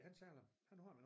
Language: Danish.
Han sagde han han har den endnu